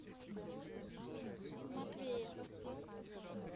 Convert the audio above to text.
матвее